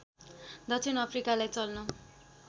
दक्षिण अफ्रिकालाई चल्न